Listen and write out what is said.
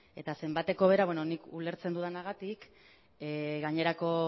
eta zenbateko bera nik ulertzen dudanagatik gainerako